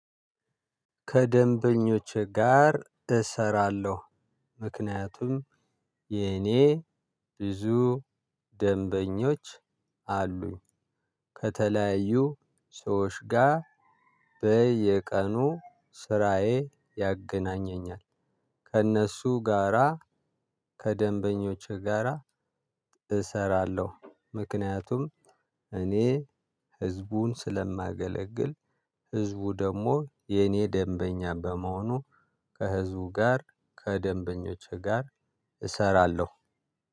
ከደምበኞቼ ጋር እሰራለሁ ምክንያቱም የኔ ቡዙ ደንቦኞች አሉኝ። ከተለያዩ ሰዎች ጋር በየቀኑ ስራየ ያገናኘኛል ከእነሱ ጋራ ከደንበኞቼ ጋራ እሰራለሁ ምክንያቱም እኔ ህዝቡን ስለማገለግል ህዝቡ ደግሞ የኔ ደንበኛ በመሆኑ ከህዝቡ ጋር ከደንበኞቼ ጋር እሰራለሁ